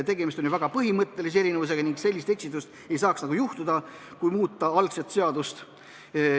See on ju väga põhimõtteline erinevus ning sellist eksitust ei saaks nagu juhtuda, kui seadust muudetakse.